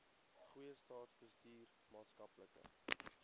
goeie staatsbestuur maatskaplike